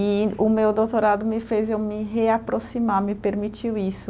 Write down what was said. E o meu doutorado me fez eu me reaproximar, me permitiu isso.